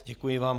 Děkuji vám.